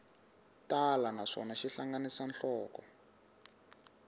tala naswona xi hlanganisa nhloko